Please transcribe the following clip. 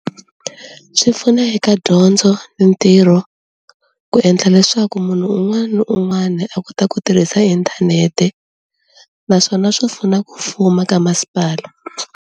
Swi pfuna eka dyondzo ni ntirho ku endla leswaku munhu un'wani ni un'wani a kota ku tirhisa inthanete naswona swi pfuna ku fuma ka masipala.